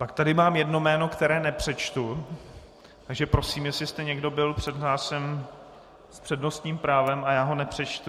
Pak tady mám jedno jméno, které nepřečtu, takže prosím, jestli jste někdo byl přihlášen s přednostním právem a já ho nepřečtu...